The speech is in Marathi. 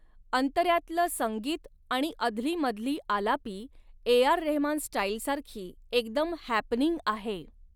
अंतऱ्यातलं संगीत आणि अधलीमधली आलापी ए आर रेहमान स्टाईलसारखी एकदम हॅपनिंग आहे.